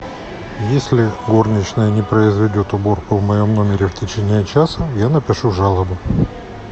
если горничная не произведет уборку в моем номере в течение часа я напишу жалобу